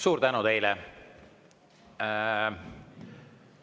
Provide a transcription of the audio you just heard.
Suur tänu teile!